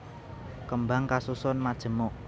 Kembang kasusun majemuk